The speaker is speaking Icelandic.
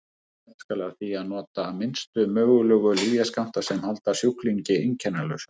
stefnt skal að því að nota minnstu mögulegu lyfjaskammta sem halda sjúklingi einkennalausum